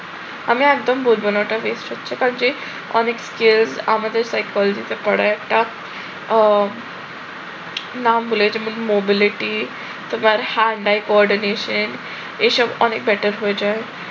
আমি একদম বুঝব না ওটা হচ্ছে। কারণ যে অনেক skilled আমাদের psychology তে পড়ে একটা উহ নাম ভুলে গেছি mobility তোমার coordination এসব অনেক better হয়ে যায়